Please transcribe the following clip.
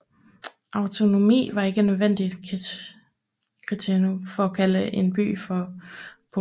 Autonomi var ikke et nødvendigt kriterium for at kunne kalde en by for polis